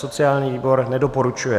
Sociální výbor nedoporučuje.